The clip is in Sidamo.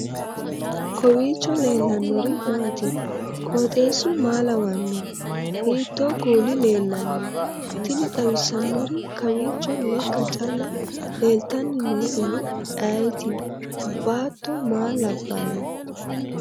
kowiicho leellannori maati ? qooxeessu maa lawaanno ? hiitoo kuuli leellanno ? tini xawissannori kawiicho lekka calla leeltanni nooehu ayeeti baattto maa labbanno